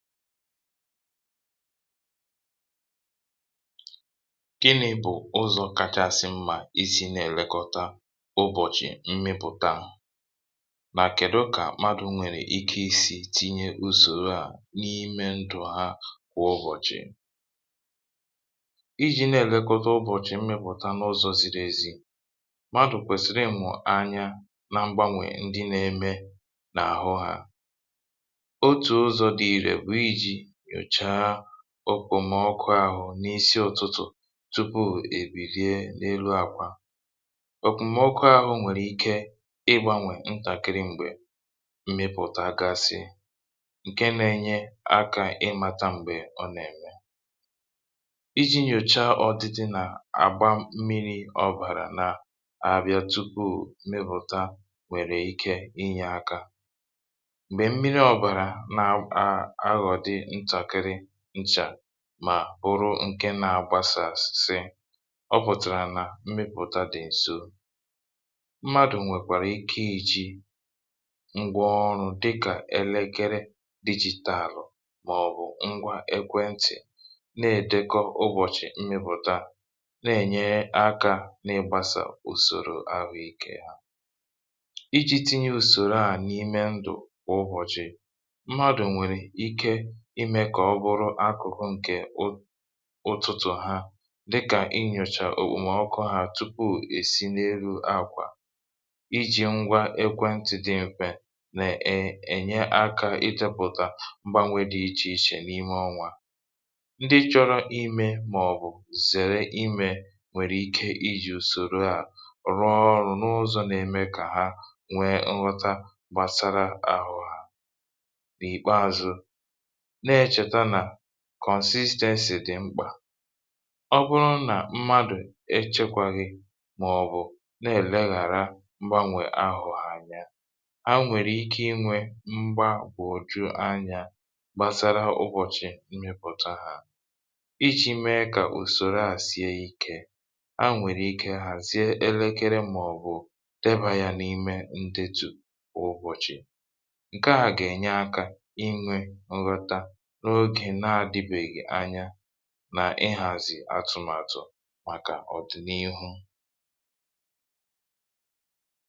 gịnị̄ bụ̀ ụzọ̄ kachasị mmā isī na-èlekọta ụbọ̀chị̀ mmịpụ̀ta? mà kèdụ kà madụ̄ nwèrè ike isī tinye ùsòroà n’ime ndụ̀ ha kwà ụbọ̀chị̀? ijī na-èlekọta ụbọ̀chị̀ mmịpụ̀ta n’ụzọ̄ ziri ezi madụ̀ kwèsị̀rị̀ ịmụ̀ anya na mgbanwè ndị na-eme n’àhụ hā otù ụzọ̄ dị ìrè bụ̀ ijī nyochaa òkpòmọkụ āhụ̄ n’isi ụ̄tụ̄tụ̀ tupuù è bìrie n’elu àkwà òkpòmọkụ āhụ̄ nwèrè ike ịgbānwè ntàkịrị m̀gbè mmịpụ̀tagasị ǹke nā-ēnye akā ịmātā m̀gbè ọ nà-ème ijī nyòchaa ọdidi nà-àgba mmirī ọ̀bàrà nà abịa tupuù mmịpụ̀ta nwèrè ike inyē aka m̀gbè mmiri ọ̀bàrà nà à aghọ̀dị ntàkịrị nchà mà bụrụ nke nā-agbasàsị ọ pụ̀tàrà nà mmịpụ̀ta dị̀ ǹso mmadụ̀ nwèkwàrà ike ijī ngwa ọrụ̄ dịkà elekere dijītàlụ̀ màọ̀bụ̀ ngwa ekwentị̀ na-èdekọ ụbọ̀chị̀ mmịpụ̀ta na-ènye akā n’ịgbāsà ùsòro ahụ ikē ijī tinye ùsòro à n’ime ndụ̀ kwà ụbọ̀chị̀ mmadụ̀ nwèrè ike imē kà ọ bụrụ akụ̀kụ ǹkè ụ ụtụtụ̀ ha dịkà inyòchà òkpòmọkụ hā tupuù hà èsi n’elu àkwà ijī ngwa ekwentị̀ dị m̄fē nè è ènye akā idēpụ̀tà mgbanwē dị ichè ichè n’ime ọnwā ndị chọ̄rọ̄ imē màọ̀bụ̀ zère imē nwèrè ike ijì ùsòro à rụọ ọrụ̄ n’ụzọ̄ na-eme kà ha nwee nghọta gbàsara àhụ hā n’ìkpeāzụ̄ na-ēchèta nà consistency dị̀ mkpà ọ bụrụ nà mmadụ̀ echēkwaghị màọ̀bụ̀ na-èleghàra mgbanwè àhụ hā anya ha nwèrè ike inwē mgbagwòju anyā gbasara ụbọ̀chị̀ mmịpụ̀ta hā ijī mee kà ùsòroà sie ikē ha nwèrè ike hàzie elekere màọ̀bụ̀ debā ha n’ime ndetu ụbọ̀chị̀ ǹkeà gà-ènye akā inwē nghọta n’ogè na-ādịbèghì anya nà ịhàzị̀ atụ̀màtụ̀ màkà ọ̀dị̀n’ihu